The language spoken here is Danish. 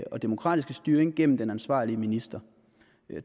og demokratiske styring gennem den ansvarlige minister